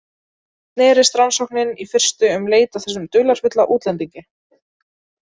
Snerist rannsóknin í fyrstu um leit að þessum dularfulla útlendingi.